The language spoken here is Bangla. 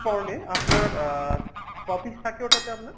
prawn এ আপনার আহ ক piece থাকে ওটাতে আপনার ?